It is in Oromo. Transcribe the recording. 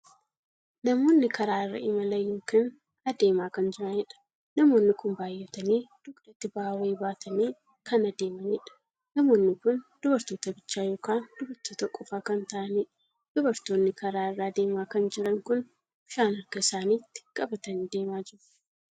Namoonni karaa irra imalan ykn adeemaa kan jiraniidha. namoonni kun baay'atanii dugdatti ba'aa wayii baatanii kan adeemaniidha. namoonni kun dubartoota bichaa ykn dubartoota qofa kan taa'aniidha. dubartoonni karaa irra adeemaa kan jiran kun bishaan harka isaaniitti qabatanii deemaa jiru.